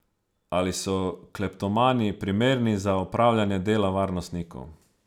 Ali so kleptomani primerni za opravljanje dela varnostnikov?